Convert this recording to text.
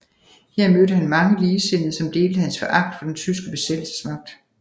Her mødte han mange ligesindede som delte hans foragt for den tyske besættelsesmagt